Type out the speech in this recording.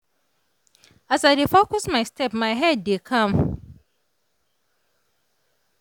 as i dey focus my step my head dey calm.